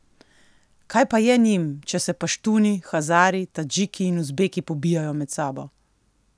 Kaj pa je njim, če se Paštuni, Hazari, Tadžiki in Uzbeki pobijajo med sabo?